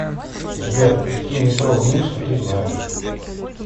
сбер какие метро в минске ты знаешь